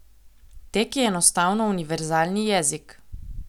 Tek je enostavno univerzalni jezik.